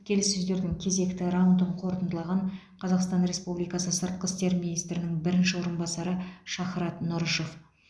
келіссөздердің кезекті раундын қорытындылаған қазақстан республикасы сыртқы істер министрінің бірінші орынбасары шахрат нұрышев